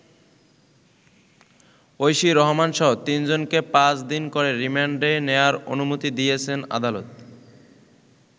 ঐশী রহমানসহ তিনজনকে পাঁচ দিন করে রিমান্ডে নেওয়ার অনুমতি দিয়েছেন আদালত।